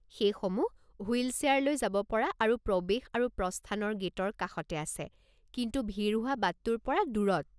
সেইসমূহ wheel chair লৈ যাব পৰা আৰু প্ৰৱেশ আৰু প্ৰস্থানৰ গে'টৰ কাষতে আছে, কিন্তু ভিৰ হোৱা বাটতোৰ পৰা দূৰত।